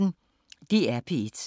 DR P1